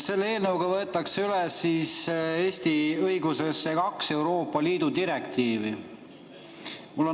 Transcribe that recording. Selle eelnõuga võetakse Eesti õigusesse üle kaks Euroopa Liidu direktiivi.